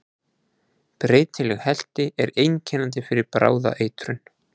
Breytileg helti er einkennandi fyrir bráða eitrun.